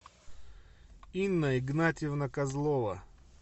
инна игнатьевна козлова